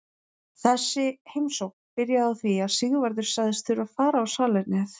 Þessi heimsókn byrjaði á því að Sigvarður sagðist þurfa að fara á salernið.